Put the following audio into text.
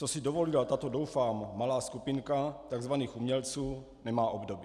Co si dovolila tato, doufám, malá skupinka tzv. umělců, nemá obdoby.